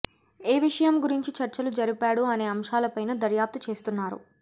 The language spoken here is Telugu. ఏ విషయం గురించి చర్చలు జరిపాడు అనే అంశాలపైనా దర్యాప్తు చేస్తున్నారు